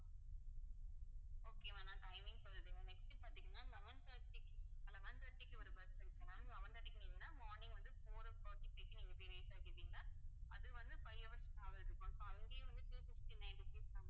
okay ma'am நான் timing சொல்றேன் next பார்த்தீங்கன்னா eleven thirty க்கு eleven thirty க்கு ஒரு bus இருக்கு ma'am eleven thirty க்கு ஏறுனீங்கன்னா morning வந்து four o'clock க்கு நீங்க போய் reach ஆயிருவீங்க அது வந்து five hours travel இருக்கும் so அங்கேயும் வந்து two fifty-nine rupees தான்